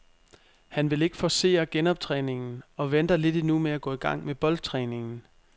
Han vil ikke forcere genoptræningen og venter lidt endnu med at gå i gang med boldtræningen.